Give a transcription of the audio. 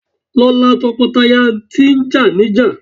Lọ la tọkọtaya tí jà níjà!